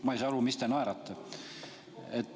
Ma ei saa aru, mis te naerate.